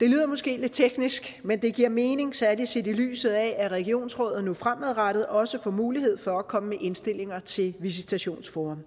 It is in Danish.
det lyder måske lidt teknisk men det giver mening særlig set i lyset af at regionsrådet fremadrettet også får mulighed for at komme med indstillinger til visitationforum